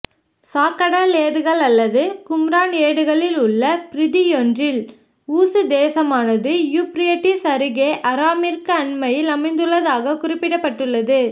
சாக்கடல் ஏடுகள் அல்லது கும்ரான் ஏடுகளில் உள்ள பிரதியொன்றில் ஊசு தேசமானது யூப்பிரட்டிஸ் அருகே ஆராமிற்கு அண்மையில் அமைந்துள்ளதாகக் குறிப்பிடப்பட்டுள்ளது